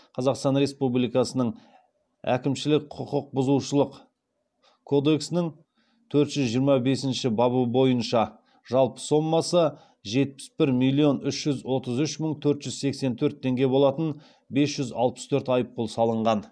қазақстан республикасының әкімшілік құқық бұзушылық кодексінің төрт жүз жиырма бесінші бабы бойынша жалпы сомасы жетпіс бір миллион үш жүз отыз үш мың төрт жүз сексен төрт теңге болатын бес жүз алпыс төрт айыппұл салынған